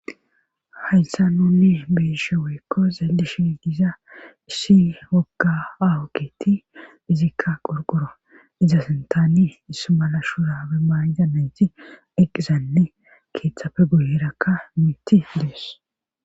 Hayssa nuni beyishe weykko zalli shi diza issi wogga aawukketi izikka qorqoro izasintaani ismala shura be mayida nayti eqizanne keeththafe guyerakka miti liyes.